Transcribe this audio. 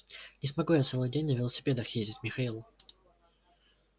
не смогу я целый день на велосипедах ездить михаил